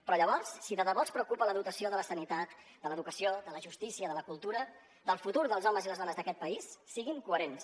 però llavors si de debò els preocupa la dotació de la sanitat de l’educació de la justícia de la cultura del futur dels homes i les dones d’aquest país siguin coherents